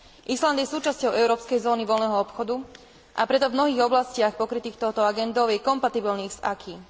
Island je súčasťou európskej zóny voľného obchodu, a preto v mnohých oblastiach pokrytých touto agendou je kompatibilný s acquis.